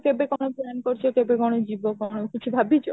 କେବେ କ'ଣ join କରୁଛ କେବେ କ'ଣ ଯିବ କ'ଣ ଭାବିଛ?